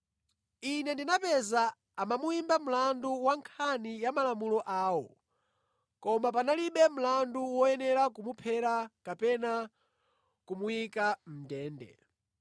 Ine ndinapeza kuti amamuyimba mlandu wa nkhani ya malamulo awo, koma panalibe mlandu woyenera kumuphera kapena kumuyika mʼndende.